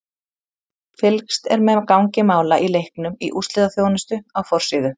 Fylgst er með gangi mála í leiknum í úrslitaþjónustu á forsíðu.